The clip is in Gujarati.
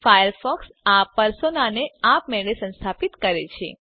ફાયરફોક્સ આ પર્સોનાને આપમેળે સંસ્થાપિત કરે છે